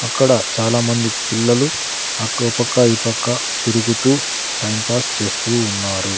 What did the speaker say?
అక్కడ చాలామంది పిల్లలు అకో పక్క ఈ పక్క తిరుగుతూ టైం పాస్ చేస్తూ ఉన్నారు.